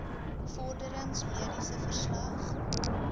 vorderings mediese verslag